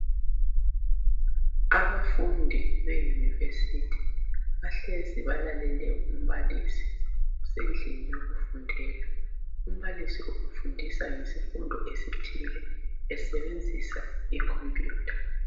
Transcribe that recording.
Abafundi beyunivesithi bahlezi balalele umbalisi besendlini yokufundela. Umbalisi befundisa ngesifundo esithile esebenzisa okhomphiyutha.